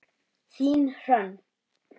Þín Hrönn.